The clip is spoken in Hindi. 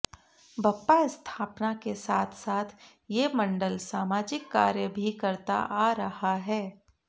बप्पा स्थापना के साथ साथ ये मंडल सामाजिक कार्य भी करता आ रहा है